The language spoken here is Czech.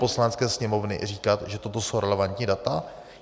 Poslanecké sněmovny říkat, že toto jsou relevantní data?